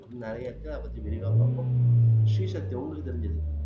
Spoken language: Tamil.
அப்படின்னு நிறைய இருக்கு அத பத்தி விரிவா பார்ப்போம் ஸ்ரீசக்தி உங்களுக்கு தெரிஞ்சது